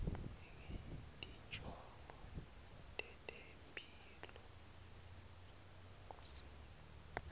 ngetinjongo tetemphilo kusimo